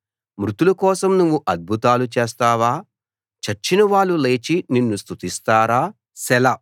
మృతులకోసం నువ్వు అద్భుతాలు చేస్తావా చచ్చిన వాళ్ళు లేచి నిన్ను స్తుతిస్తారా సెలా